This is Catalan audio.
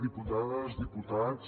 diputades diputats